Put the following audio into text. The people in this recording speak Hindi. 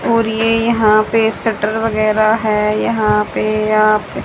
और ये यहां पे शटर वगैरह है यहां पे आप--